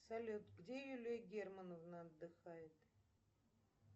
салют где юлия германовна отдыхает